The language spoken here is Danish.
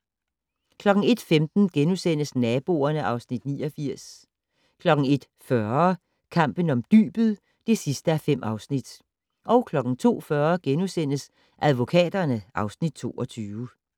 01:15: Naboerne (Afs. 89)* 01:40: Kampen om dybet (5:5) 02:40: Advokaterne (Afs. 22)*